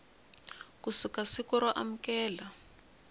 ku suka siku ro amukela